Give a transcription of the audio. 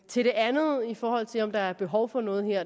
til det andet i forhold til om der er behov for noget her